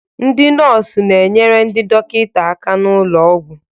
ndị nọọsụ na-enyere ndị dọkịta aka n'ụlọ ọgwụ